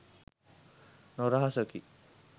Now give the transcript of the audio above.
නොරහසකි